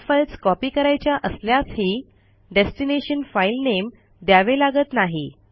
अनेक files copy करायच्या असल्यासही डेस्टिनेशन फाईल नेम द्यावे लागत नाही